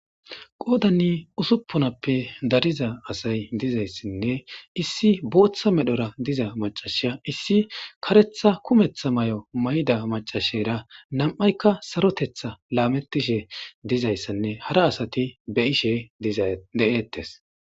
qoodanni usupponappe dariza asay dizayssinne issi booththa medhora diza macashasiya issi karetha kumeththa may7o may7da macashera nam7aykka sarotetha laametishe dizayssanne hara asati be ishe de7eettes